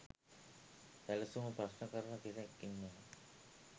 සැලසුම ප්‍රශ්න කරන කෙනෙක් ඉන්නවා.